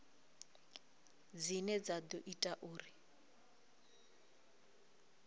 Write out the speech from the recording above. dzine dza ḓo ita uri